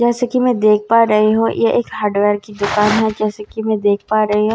जैसा कि मैं देख पा रही हूं यह एक हार्डवेयर की दुकान है जैसा कि मैं देख पा रही हूं।